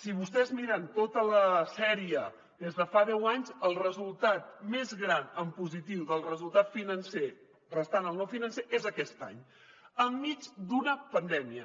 si vostès miren tota la sèrie des de fa deu anys el resultat més gran en positiu del resultat financer restant el no financer és aquest any enmig d’una pandèmia